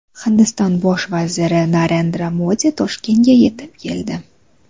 Hindiston bosh vaziri Narendra Modi Toshkentga yetib keldi.